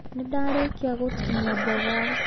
Nĩndarĩkia gũtinia mboga.